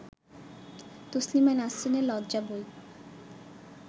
তসলিমা নাসরিনের লজ্জা বই